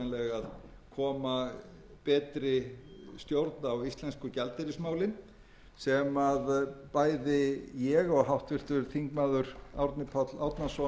að hugsanlega koma betri stjórn á íslensku gjaldeyrismálin sem bæði ég og háttvirtur þingmaður árni páll árnason teljum og erum gjörsamlega sammála um að brýna